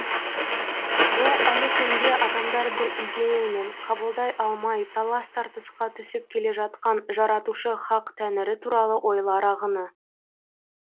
бұл әлі күнге адамдар бір идеямен қабылдай алмай талас тартысқа түсіп келе жатқан жаратушы хақ тәңірі туралы ойлар ағыны